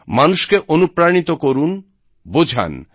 মানুষকে অনুপ্রাণিত করুন বোঝান